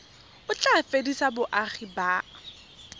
o tla fedisa boagi ba